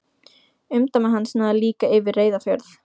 Umdæmi hans náði líka yfir Reyðarfjörð.